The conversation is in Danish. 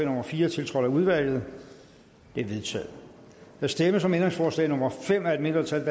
nummer fire tiltrådt af udvalget det er vedtaget der stemmes om ændringsforslag nummer fem af et mindretal